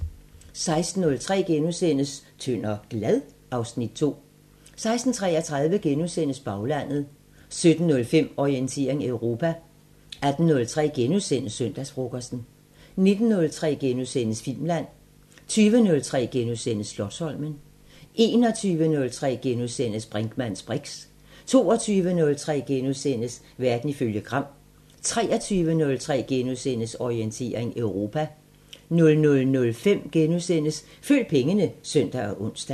16:03: Tynd og glad? (Afs. 2)* 16:33: Baglandet * 17:05: Orientering Europa 18:03: Søndagsfrokosten * 19:03: Filmland * 20:03: Slotsholmen * 21:03: Brinkmanns briks * 22:03: Verden ifølge Gram * 23:03: Orientering Europa * 00:05: Følg pengene *(søn og ons)